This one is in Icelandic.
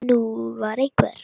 Ég get enn ímyndað mér!